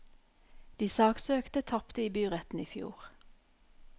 De saksøkte tapte i byretten i fjor.